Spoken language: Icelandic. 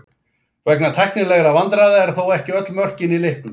Vegna tæknilegra vandræða eru þó ekki öll mörkin í leiknum.